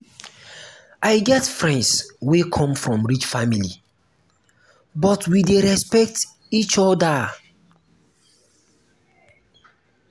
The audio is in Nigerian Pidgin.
i get friends wey come from rich family but we dey respect each oda.